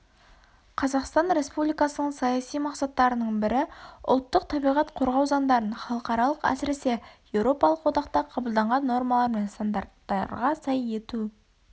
қазақстан республикасының саяси мақсаттарының бірі ұлттық табиғат қорғау заңдарын халықаралық әсіресе еуропалық одақта қабылданған нормалар мен стандарттарға сай ету